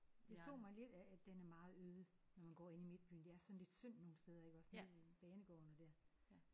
Det slog mig lidt at den er meget øde når man går inde i midtbyen. Det er sådan lidt synd nogle steder iggås nede ved banegården og der